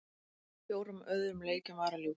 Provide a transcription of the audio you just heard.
Fjórum öðrum leikjum var að ljúka